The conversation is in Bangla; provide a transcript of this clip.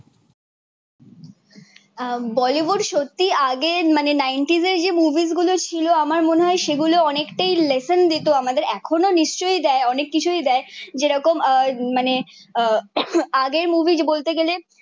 বলিউড সত্য আগে মানে নাইনটিজ এ যেই মুভি গুলো ছিল আমার মনে হয়ে সেই গুলো অনেকটাই লেসন দিতো আমাদের এখনো নিশ্চই দায়ে অনেক কিছুই দায়ে জেরোখন আহ মানে আহ আগের মুভি বলতে গেলে